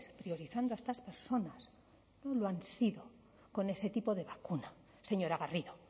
priorizando a estas personas no lo han sido con este tipo de vacuna señora garrido